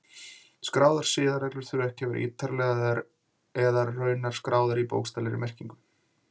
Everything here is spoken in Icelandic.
Skráðar siðareglur þurfa ekki að vera ítarlegar eða raunar skráðar í bókstaflegri merkingu.